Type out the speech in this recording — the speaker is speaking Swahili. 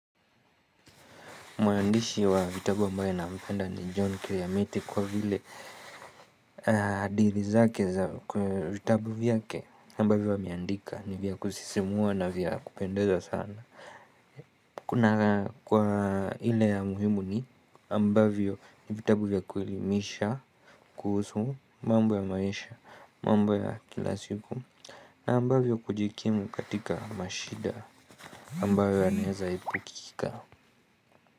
Mwandishi wa vitabu ambaye nampenda ni John kiliamete kwa vile hadilthi zake za vitabu vyake ambavyo ameandika ni vya kusisimua na vya kupendeza sana. Kuna kwa ile ya muhimu ni ambavyo ni vitabu vya kuelimisha kuhusu mambo ya maisha mambo ya kila siku na ambavyo kujikimu katika mashida ambayo yanaweza epukika.